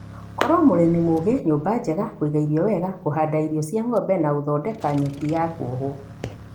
Korwo mũrĩmi mũgĩ. Nyũmba njega, kũiga irio wega, Kũhanda irio cia ng'ombe, na ũthondeka nyeki ya kũohwo.